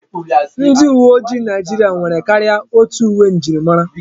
Ndi uwe ojii Naijiria nwere karịa otu uwe njirimara.